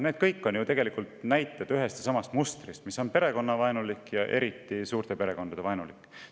Need kõik on ju näited ühest ja samast mustrist, mis on perekonnavaenulik ja eriti suurte perekondade vaenulik.